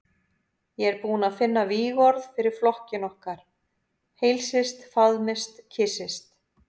Ég er búinn að finna vígorð fyrir flokkinn okkar: Heilsist, faðmist, kyssist.